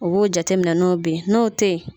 U b'o jate minɛ n'o bɛ ye n'o tɛ ye